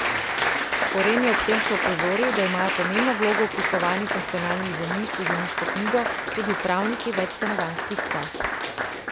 Koren je ob tem še opozoril, da imajo pomembno vlogo v vpisovanju funkcionalnih zemljišč v zemljiško knjigo tudi upravniki večstanovanjskih stavb.